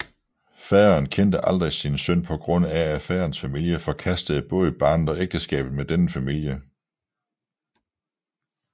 Faderen kendte aldrig sin søn på grund af at faderens familie forkastede både barnet og ægteskabet med denne familie